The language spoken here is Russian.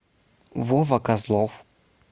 вова козлов